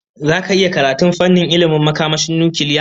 Zaka iya karatun fannin ilmin makamashin nukiliya?